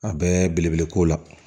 A bɛɛ belebele ko la